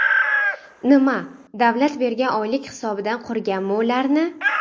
Nima, davlat bergan oylik hisobidan qurganmi ularni?..